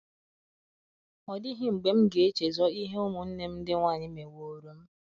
Ọ dịghị mgbe m ga - echezọ ihe ụmụnne m ndị nwanyị mewooro m.